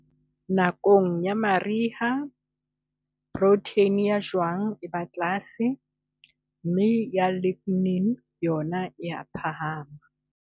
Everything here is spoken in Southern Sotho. Nakong ya mariha, protheine ya jwang e ba tlase, mme ya lignin yona e a phahama.